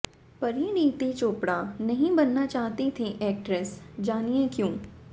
परिणीती चोपड़ा नहीं बनना चाहती थी एक्ट्रेस जानिए क्यों